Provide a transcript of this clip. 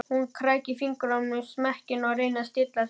Hún krækir fingrum í smekkinn, reynir að stilla sig.